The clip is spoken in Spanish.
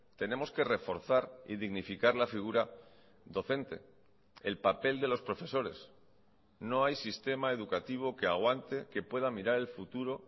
tenemos que reforzar y dignificar la figura docente el papel de los profesores no hay sistema educativo que aguante que pueda mirar el futuro